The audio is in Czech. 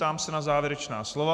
Ptám se na závěrečná slova.